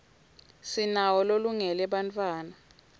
sinawo lolungele bantfwana